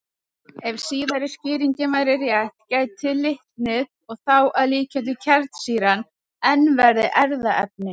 Ef síðari skýringin væri rétt gæti litnið, og þá að líkindum kjarnsýran, enn verið erfðaefnið.